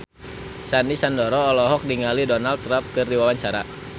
Sandy Sandoro olohok ningali Donald Trump keur diwawancara